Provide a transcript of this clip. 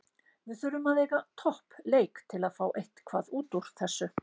Við þurfum að eiga topp leik til að fá eitthvað útúr þessu.